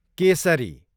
Kesari